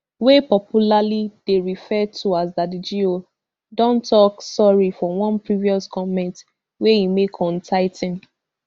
wey popularly dey referred to as daddy go don tok sorry for one previous comment wey e make on tithing